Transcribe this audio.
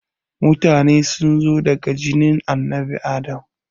Mutane sunzo daga jinin annabi Adam